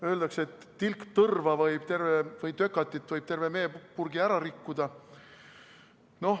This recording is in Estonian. Öeldakse, et tilk tõrva või tökatit võib terve meepurgi ära rikkuda.